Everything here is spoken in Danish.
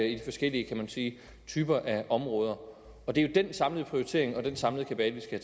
i de forskellige kan man sige typer af områder det er jo den samlede prioritering og den samlede kabale